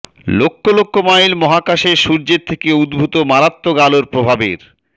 লক্ষ লক্ষ মাইল মহাকাশে সূর্যের থেকে উদ্ভূত মারাত্মক আলোর প্রভাবের